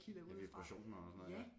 Ja vibrationer og sådan noget ja